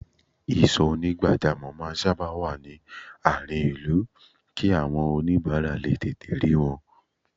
Ìsò onigbajamo máa sábà wá ní àárín ìlú kí àwọn onibara lè tètè rí wọn